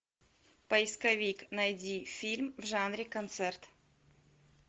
поисковик найди фильм в жанре концерт